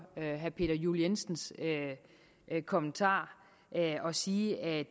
herre peter juel jensens kommentar at at sige at